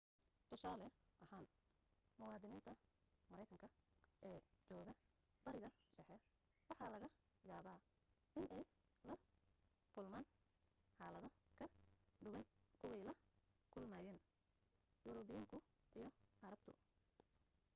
tusaale ahaan muwaadiniinta maraykanka ee jooga bariga dhexe waxa laga yaaba inay la kulmaan xaalado ka duwan kuway la kulmayaan yurubiyaanku iyo carabtu